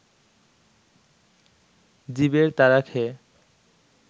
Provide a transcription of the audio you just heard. জীবের তাড়া খেয়ে